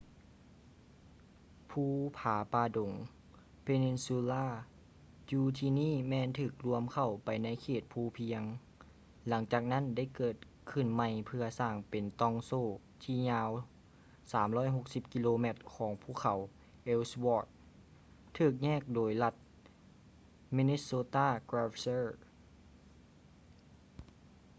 ພູຜາປ່າດົງ peninsula ຢູ່ທີ່ນີ້ແມ່ນຖືກລວມເຂົ້າໄປໃນເຂດພູພຽງ ຫຼັງຈາກນັ້ນໄດ້ເກີດຂຶ້ນໃໝ່ເພື່ອສ້າງເປັນຕ່ອງໂສ້ທີ່ຍາວ 360 ກິໂລແມັດຂອງພູເຂົາ ellsworth ຖືກແຍກໂດຍລັດ minnesota glacier